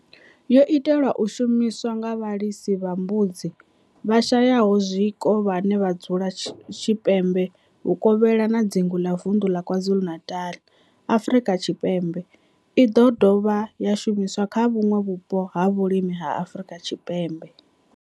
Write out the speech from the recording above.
yo itelwa u shumiswa nga vhalisa vha mbudzi vhashayaho zwiko vhane vha dzula tshipembe vhuvokhela na dzingu la Vundu la KwaZulu-Natal, Afrika Tshipembe i do dovha ya shumiswa kha vhuṋwe vhupo ha vhulimi ha Afrika Tshipembe.